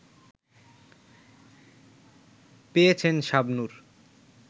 পেয়েছেন শাবনূর